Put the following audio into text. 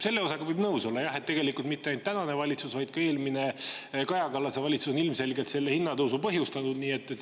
Selle osaga võib nõus olla, et tegelikult mitte ainult tänane valitsus, vaid ka eelmine, Kaja Kallase valitsus on ilmselgelt selle hinnatõusu põhjustanud.